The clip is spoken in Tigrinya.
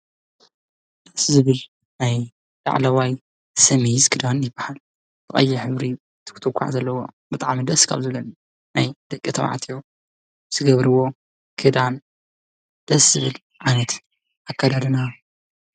ደስ ዝብል ናይ ላዕለዋይ ሰሚዝ ክዳን ይባሃል፡፡ ቀይሕ ሕብሪ ትኩትኳዕ ዘለዎ ብጣዕሚ ደስ ካብ ዝብለኒ ናይ ደቂ ተባዕትዮ ዝገብሩዎ ክዳን ደስ ዝብል ዓይነት ኣካዳድና።